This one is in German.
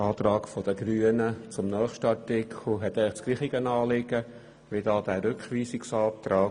Der Antrag der Grünen zum nächsten Artikel hat eigentlich dasselbe Anliegen wie der Rückweisungsantrag.